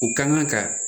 U ka kan ka